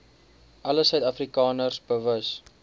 alle suidafrikaners bewus